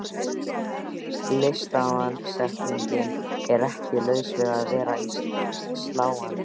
Litasamsetningin er ekki laus við að vera sláandi.